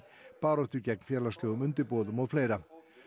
baráttu gegn félagslegum undirboðum og fleira